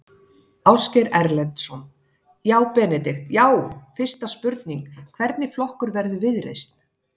Ásgeir Erlendsson: Já Benedikt, já fyrsta spurning, hvernig flokkur verður Viðreisn?